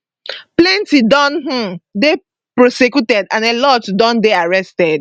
plenti don um dey prosecuted and a lot don dey arrested